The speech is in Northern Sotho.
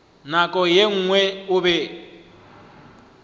nako ye nngwe o be